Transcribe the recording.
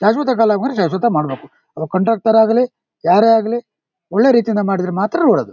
ಶಾಶ್ವತ ವರೆಗ್ ಶಾಶ್ವತ ಮಾಡಬೇಕು ಅದು ಕಂಡಕ್ಟರ್ ಆಗಲಿ ಯಾರೇ ಆಗ್ಲಿ ಒಳ್ಳೆ ರೀತಿ ಯಿಂದ ಮಾಡಿದ್ರೆ ಮಾತ್ರ